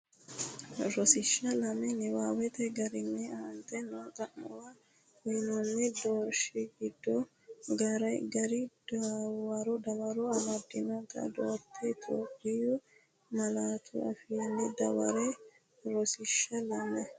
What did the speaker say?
Rosiishsha Lame Niwaawete garinni aante noo xa’muwara uyinoonni doorshi giddo gari dawaro amaddinota doortine Itophiyu malaatu afiinni dawarre Rosiishsha Lame.